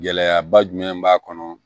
Gɛlɛyaba jumɛn b'a kɔnɔ